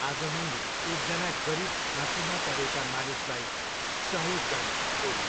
आज मैले एकजना गरिब खाँचोमा परेका मानिसलाई सहयोग गरेँ, ओली।